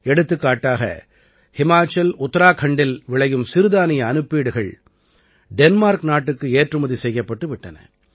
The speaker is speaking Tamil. எடுத்துக்காட்டாக ஹிமாச்சல் உத்தராகண்டில் விளையும் சிறுதானிய அனுப்பீடுகள் டென்மார்க் நாட்டுக்கு ஏற்றுமதி செய்யப்பட்டு விட்டன